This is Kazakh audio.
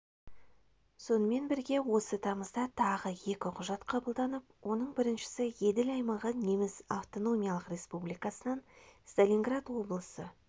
сонымен бірге осы тамызда тағы екі құжат қабылданып оның біріншісі еділ аймағы неміс автономиялық республикасынан сталинград облысы